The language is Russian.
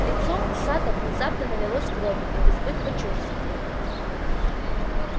лицо сатта внезапно налилось кровью от избытка чувств